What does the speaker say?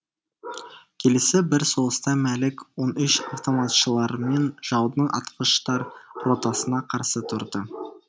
келесі бір соғыста мәлік он үш автоматшыларымен жаудың атқыштар ротасына қарсы тұрды